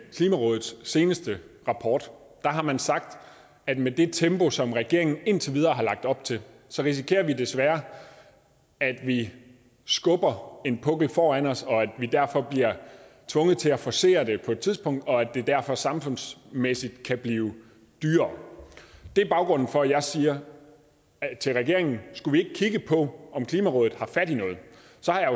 klimarådets seneste rapport har man sagt at med det tempo som regeringen indtil videre har lagt op til risikerer vi desværre at vi skubber en pukkel foran os og at vi derfor bliver tvunget til at forcere det på et tidspunkt og at det derfor samfundsmæssigt kan blive dyrere det er baggrunden for at jeg siger til regeringen skulle vi ikke kigge på om klimarådet har fat i noget